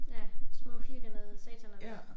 Ja små firkantede sataner